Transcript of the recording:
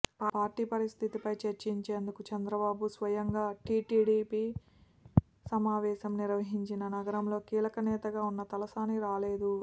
party పరిస్థితిపై చర్చించేందుకు చంద్రబాబు స్వయంగా టిటిడిపి సమావేశం నిర్వహించినా నగరంలో కీలక నేతగా ఉన్న తలసాని రాలేదు